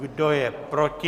Kdo je proti?